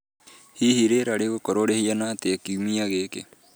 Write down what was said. hihi rĩera rĩgookorũo rĩhana atia kiumia gĩkĩ